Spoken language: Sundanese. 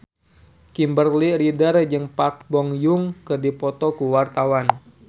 Kimberly Ryder jeung Park Bo Yung keur dipoto ku wartawan